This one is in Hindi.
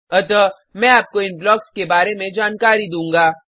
अतः मैं आपको इन ब्लॉक्स के बारे में जानकारी दूँगा